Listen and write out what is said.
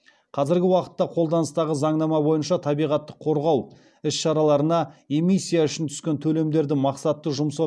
қазіргі уақытта қолданыстағы заңнама бойынша табиғатты қорғау іс шараларына эмиссия үшін түскен төлемдерді мақсатты жұмсау